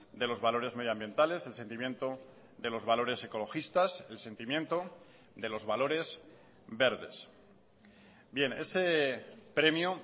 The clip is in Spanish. de los valores medioambientales el sentimiento de los valores ecologistas el sentimiento de los valores verdes bien ese premio